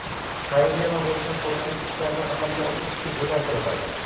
xayriya va boshqa foydali ishlarni amalga oshirishga yo‘naltiriladi.